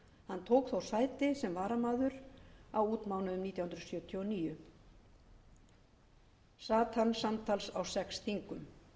hann tók þó sæti sem varamaður á útmánuðum nítján hundruð sjötíu og níu og sat samtals á sex þingum